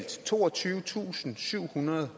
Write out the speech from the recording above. toogtyvetusinde og syvhundrede